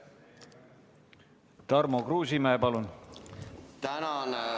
Tarmo Kruusimäe, palun!